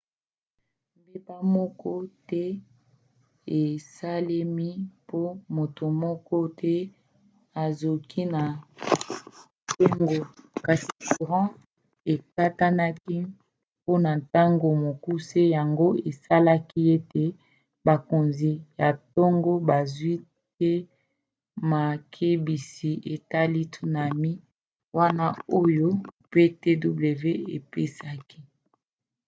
mbeba moko te esalemi pe moto moko te azoki na tonga kasi courant ekatanaki mpona ntango mokuse yango esalaki ete bakonzi ya tonga bazwi te makebisi etali tsunami wana oyo ptwc epesaki